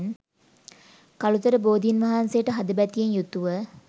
කළුතර බෝධීන් වහන්සේට හදබැතියෙන් යුතුව